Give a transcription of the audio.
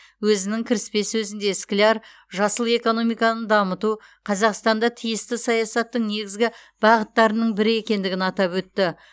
өзінің кіріспе сөзінде скляр жасыл экономиканы дамыту қазақстанда тиісті саясаттың негізгі бағыттарының бірі екендігін атап өтті